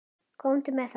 Komdu með það.